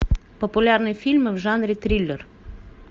популярные фильмы в жанре триллер